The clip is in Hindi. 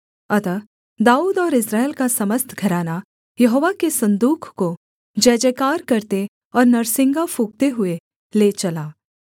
अतः दाऊद और इस्राएल का समस्त घराना यहोवा के सन्दूक को जयजयकार करते और नरसिंगा फूँकते हुए ले चला